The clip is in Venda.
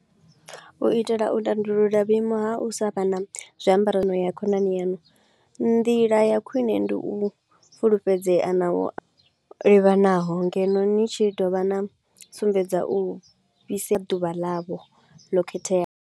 U itela u tandulula vhuimo ha u sa vha na zwiambaro na ya khonani yanu, ndila ya khwine ndi u fulufhedzea na u livhanaho ngeno ni tshi dovha na sumbedza u fhise ḓuvha ḽavho lo khetheaho.